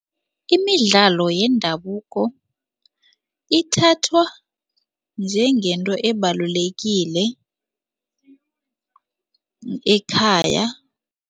Imidlalo yendabuko ithathwa njengento ebalulekile ekhaya.